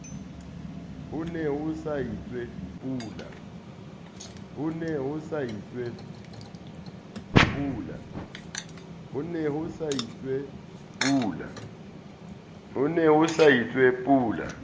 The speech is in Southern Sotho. ho ne ho itswe pula